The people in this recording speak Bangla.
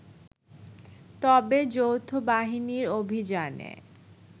তবে যৌথবাহিনীর অভিযানে